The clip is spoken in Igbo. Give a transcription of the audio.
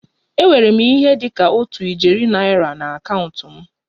Enwere m ihe dị ka otu ijeri naira na akaụntụ m